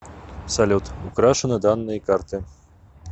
салют украшены данные карты